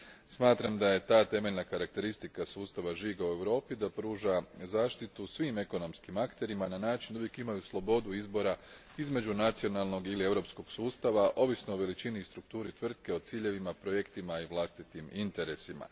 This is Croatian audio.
Smatram da je ta temeljna karakteristika sustava žigova u Europi da pruža zaštitu svim ekonomskim akterima na način da uvijek imaju slobodu izbora između nacionalnog ili europskog sustava ovisno o veličini i strukturi tvrtke, ciljevima i projektima i vlastitim interesima.